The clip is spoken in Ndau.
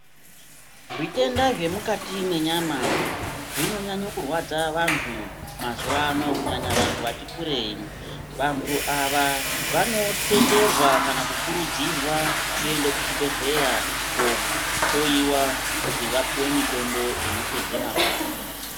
Zvitenda zvemukati mwenyama zvinonyanyenye kurwadza vantu mazuwano kunyanya vantu vati kurei, vantu ava vanotenderwa kana kukurudzirwa kuenda kuchibhedhlera kohloiwa kuti vapuwe mitombo inopedze marwadzo.